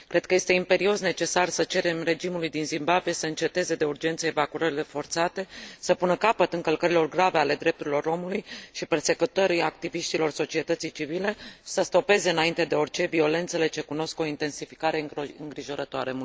Cred că este imperios necesar să cerem regimului din Zimbabwe să înceteze de urgență evacuările forțate, să pună capăt încălcărilor grave ale drepturilor omului și persecutării activiștilor societății civile și să stopeze înainte de orice violențele ce cunosc o intensificare îngrijorătoare.